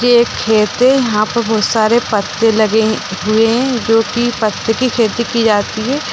जो एक खेत है यहाँ पर बहुत सारे पत्ते लगे हुए हैं जो की पत्ते की खेती की जाती है |